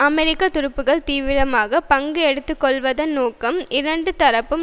அமெரிக்க துருப்புகள் தீவிரமாக பங்கு எடுத்துக்கொள்வதன் நோக்கம் இரண்டு தரப்பும்